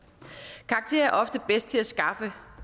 karakterer er ofte bedst til at skaffe